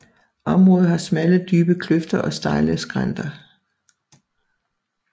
Området har smalle dybe kløfter og stejle skrænter